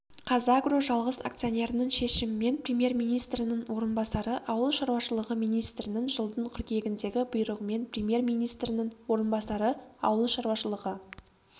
қазагро жалғыз акционерінің шешімімен премьер-министрінің орынбасары ауыл шаруашылығы министрінің жылдың қыркүйегіндегі бұйрығымен премьер-министрінің орынбасары ауыл шаруашылығы